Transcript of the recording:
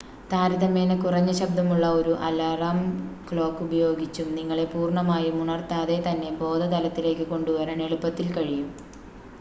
താരതമ്യേന കുറഞ്ഞ ശബ്ദമുള്ള ഒരു അലാറം ക്ലോക്ക് ഉപയോഗിച്ചും നിങ്ങളെ പൂർണ്ണമായും ഉണർത്താതെ തന്നെ ബോധതലത്തിലേക്ക് കൊണ്ടുവരാൻ എളുപ്പത്തിൽ കഴിയും